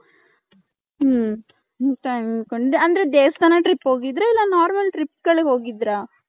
ಹ್ಮ್ಮ್ . ಅಂದ್ರೆ ದೇವಸ್ಥಾನ trip ಹೋಗಿದ್ರ ಎಲ್ಲ normal trip ಗಳಿಗ ಹೋಗಿದ್ರ .